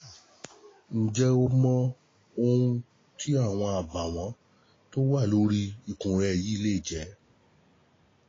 Ǹjẹ́ o mọ ohun tí àwọn àbàwọ́n tó wà lórí ikùn rẹ̀ yìí lè jẹ́?